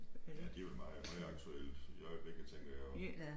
Ja de vel meget højaktuelle i øjeblikket tænker jeg også